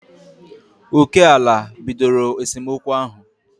Oké ala bidoro esemokwu ahụ